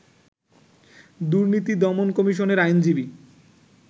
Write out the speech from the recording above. দুর্নীতি দমন কমিশনের আইনজীবী